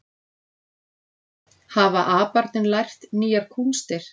Hafa aparnir lært nýjar kúnstir